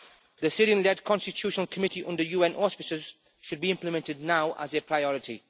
The Syrian-led constitutional committee under UN auspices should be implemented now, as a priority.